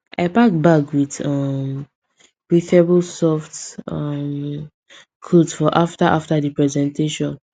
i pack bag with um breathable soft um clothes for after after the presentation